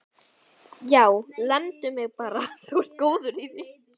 Já, lemdu mig bara, þú ert góður í því!